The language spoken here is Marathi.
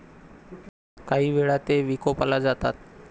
कांही वेळा ते विकोपाला जातात.